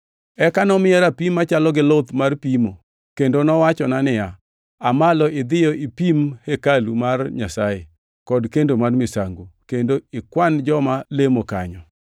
Eka nomiya rapim machalo gi luth mar pimo; kendo nowachona niya, “Aa malo idhiyo ipim hekalu mar Nyasaye kod kendo mar misango, kendo ikwan joma lemo kanyo!